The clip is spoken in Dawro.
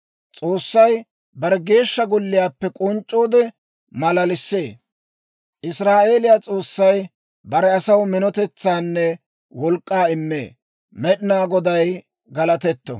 S'oossay bare Geeshsha Golliyaappe k'onc'c'oode, Maalalisee. Israa'eeliyaa S'oossay bare asaw minotetsaanne wolk'k'aa immee. Med'inaa Goday galatetto.